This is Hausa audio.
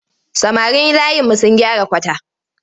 Samarin layinmu sun gyara kwata.